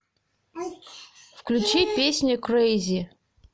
включи песню крейзи